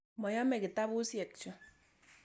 Moyome kitapusyek chu.